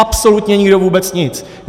Absolutně nikdo vůbec nic!